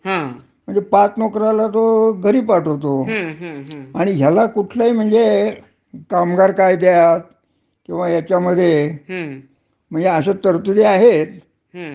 हं. त्यासुद्धा अत्यंत किचकट असत, म्हणजे अश्यावेळेला, हं. एखाद्याची खाजगी क्षेत्रातली नोकरी गेली, हं. तर त्याला म्हणजे काहीच मार्ग राहत नाही. हा.